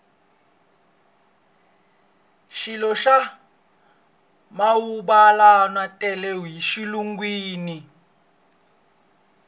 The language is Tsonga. swilo swa manguvalawa tele e xilungwini